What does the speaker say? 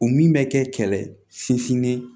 O min bɛ kɛ kɛlɛ ye sinsinnen